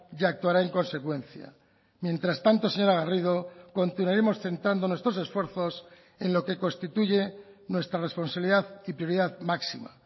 y actuará en consecuencia mientras tanto señora garrido continuaremos centrando nuestros esfuerzos en lo que constituye nuestra responsabilidad y prioridad máxima